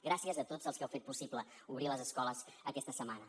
gràcies a tots els que heu fet possible obrir les escoles aquesta setmana